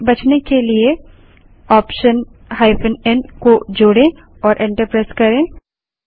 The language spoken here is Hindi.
इससे बचने के लिए ऑप्शन n को जोड़े और एंटर प्रेस करें